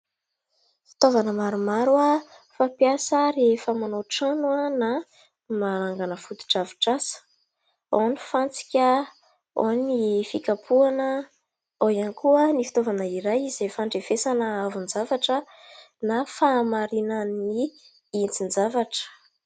Fitaovana maromaro fampiasa rehefa manao trano na manangana fotodrafitrasa : ao ny fantsika ; ao ny fikapohana ; ao ihany koa ny fitaovana iray izay fandrefesana hahavon-javatra na fahamarinan'ny hitsin-javatra.